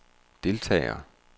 deltagere